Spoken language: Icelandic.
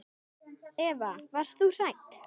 Eva: Varst þú hrædd?